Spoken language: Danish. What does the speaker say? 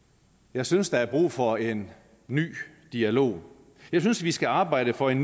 jeg synes der er brug for en ny dialog jeg synes vi skal arbejde for en